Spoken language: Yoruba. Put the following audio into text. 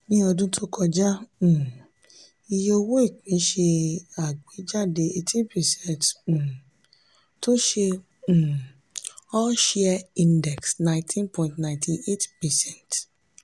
ní ọdún tó kọjá um iye owó ìpín ṣe àgbéjáde eighteen percent um tó ṣe um all share index nineteen point nine eight percent.